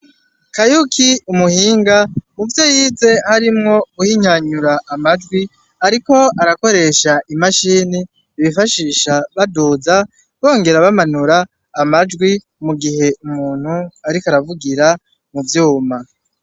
Kayuki umuhinga. Muvyo yize harimwo guhinyanyura amajwi, ariko arakoresha imashini bifashisha baduza bongera bamanura amajwi mu gihe ariko aravugira vyuma.